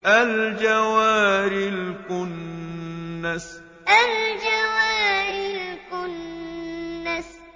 الْجَوَارِ الْكُنَّسِ الْجَوَارِ الْكُنَّسِ